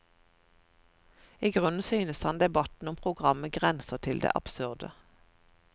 I grunnen synes han debatten om programmet grenser til det absurde.